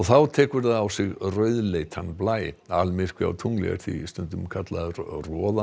þá tekur það á sig rauðleitan blæ almyrkvi á tungli er því stundum kallaður